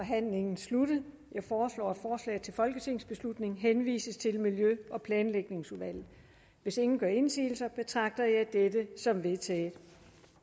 forhandlingen sluttet jeg foreslår at forslaget til folketingsbeslutning henvises til miljø og planlægningsudvalget hvis ingen gør indsigelse betragter jeg det som vedtaget